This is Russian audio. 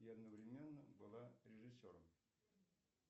и одновременно была режиссером